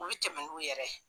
U bi tɛmɛ n'u yɛrɛ ye